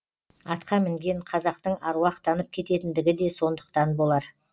атқа мінген қазақтың аруақтанып кететіндігі де сондықтан болар